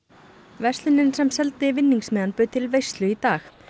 verslunin sem seldi bauð til veislu í dag